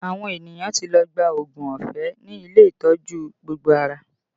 Àwọn ènìyàn ti lọ gba oògùn ọ̀fẹ́ ní ilé ìtọ́jú gbogbo ara